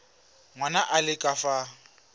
ngwana a le ka fa